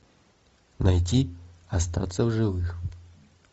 найти остаться в живых